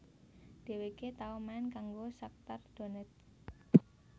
Dhèwèké tau main kanggo Shakhtar Donetsk